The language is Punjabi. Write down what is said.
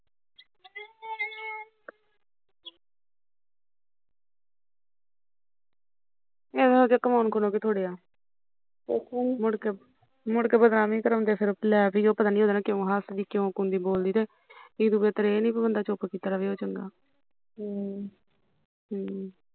ਇਹੋ ਜਹੇ ਕਵਾਉਣ ਨਾਲੋਂ ਕੀ ਥੁੜਿਆ ਮੁੜ ਕੇ ਮੁੜ ਕੇ ਬਦਨਾਮੀ ਕਰਾਉਂਦੇ ਫਿਰੋ ਲੈ ਬਈ ਉਹ ਉਹਦੇ ਨਾਲ਼ ਕਿਉ ਹੱਸਦੀ ਕਿਉ ਕੁੰਦੀ ਬੋਲਦੀ ਤੇ ਇਹਤੋਂ ਬੇਤਰ ਇਹ ਨੀ ਵੀ ਬੰਦਾ ਚੁੱਪ ਰਹੇ ਉਹ ਚੰਗਾ ਹਮ ਹਮ